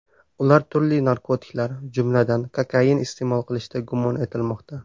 Ular turli narkotiklar, jumladan, kokain iste’mol qilishda gumon etilmoqda.